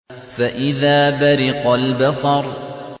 فَإِذَا بَرِقَ الْبَصَرُ